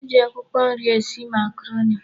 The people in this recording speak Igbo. E ji akwụkwọ nri esi makaroni.